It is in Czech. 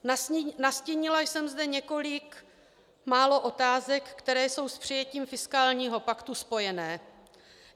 Nastínila jsem zde několik málo otázek, které jsou s přijetím fiskálního paktu spojené.